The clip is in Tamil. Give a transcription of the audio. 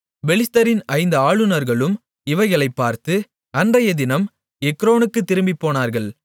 பெலிஸ்தரின் ஐந்து ஆளுநர்களும் இவைகளைப் பார்த்து அன்றையதினம் எக்ரோனுக்குத் திரும்பிப்போனார்கள்